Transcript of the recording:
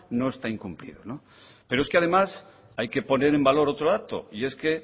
no está incumplido pero es que además hay que poner en valor otro dato y es que